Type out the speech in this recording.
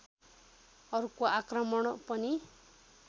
अर्को आक्रमण पनि